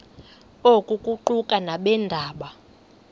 oku kuquka nabeendaba